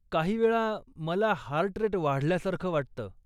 काही वेळा, मला हार्ट रेट वाढल्यासारखं वाटतं.